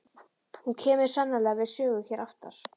Og hún kemur sannarlega við sögu hér aftar.